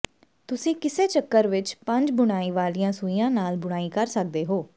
ਤੁਸੀਂ ਕਿਸੇ ਚੱਕਰ ਵਿੱਚ ਪੰਜ ਬੁਣਾਈ ਵਾਲੀਆਂ ਸੂਈਆਂ ਨਾਲ ਬੁਣਾਈ ਕਰ ਸਕਦੇ ਹੋ